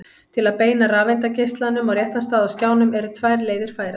til að beina rafeindageislanum á réttan stað á skjánum eru tvær leiðir færar